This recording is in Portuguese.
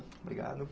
Obrigado.